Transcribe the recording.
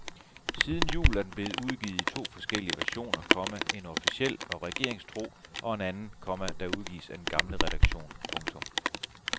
Siden jul er den blevet udgivet i to forskellige versioner, komma en officiel og regeringstro og en anden, komma der udgives af den gamle redaktion. punktum